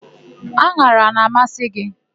An̄ara a na-amasị gị?